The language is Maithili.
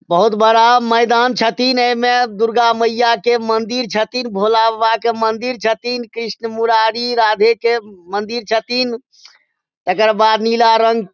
बहुत बड़ा मैदान छथिन। एमें दुर्गा मइया के मंदिर छथिन भोला बाबा के मंदिर छथिन कृष्ण मुरारी राधे के मंदिर छथिन। एकर बाद नीला रंग --